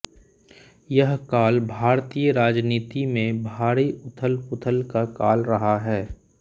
यह काल भारतीय राजनीति में भारी उथलपुथल का काल रहा है